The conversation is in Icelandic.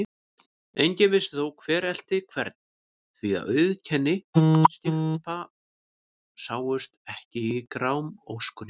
Enginn vissi þó, hver elti hvern, því að auðkenni skipa sáust ekki í grámóskunni.